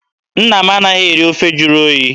Nna m anaghị eri ofe jụrụ oyi.